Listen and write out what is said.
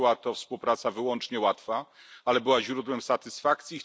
Nie była to współpraca wyłącznie łatwa, ale była źródłem satysfakcji.